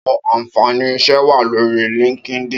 Áwòn ànfáni iṣè wá lóri lìnkídìn